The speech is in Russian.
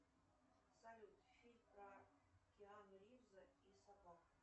салют фильм про киану ривза и собаку